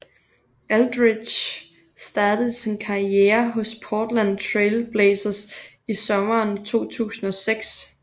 Aldridge startede sin karriere hos Portland Trail Blazers i sommeren 2006